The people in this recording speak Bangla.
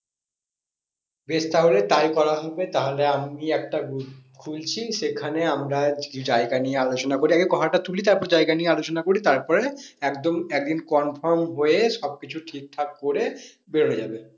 বেশ তাহলে তাই করা হবে তাহলে আমি একটা group খুলছি সেখানে আমরা জায়গা নিয়ে আলোচনা করে আগে কথাটা তুলি তারপর জায়গা নিয়ে আলোচনা করি তারপরে একদম একদিন confirm হয়ে সবকিছু ঠিকঠাক করে বেরোনো যাবে।